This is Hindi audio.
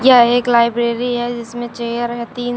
यह एक लाइब्रेरी है जिसमें चेयर है तीन।